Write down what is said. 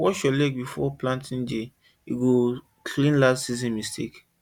wash your leg before planting day e go clean last season mistake